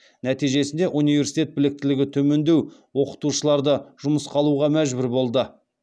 нәтижесінде университет біліктілігі төмендеу оқытушыларды жұмысқа алуға мәжбүр болды